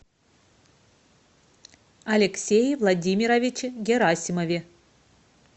алексее владимировиче герасимове